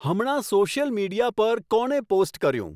હમણાં social media પર કોણે પોસ્ટ કર્યું